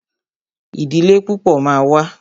Ìdílé púpọ̀ ma wà.